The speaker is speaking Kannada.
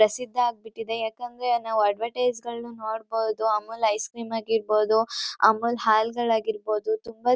ತುಂಬಾ ಪ್ರಸಿದ್ಧ ಆಗ್ಬಿಟ್ಟಿದೆ. ಯಾಕಂದ್ರೆ ನಾವ್ ಅಡವ್ರ್ ಟೈಸ್ಗಳ್ನ ನೋಡಬೋದು ಅಮೂಲ್ ಐಸ್ ಕ್ರೀಮ್ ಆಗಿರ್ಬೋದು ಅಮೂಲ್ ಹಾಲ್ಗಳಾಗಿರ್ಬೋದು ತುಂಬ--